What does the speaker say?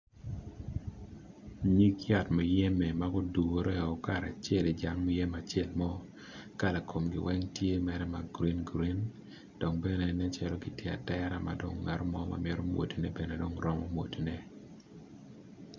Ngig yat muyembe magudure o karacel ijang muyembe mo kala kongi tye mere ma grin grin dong bene nen calo gitye atera mabene ngato mo mamito mwadone romo mwado ne.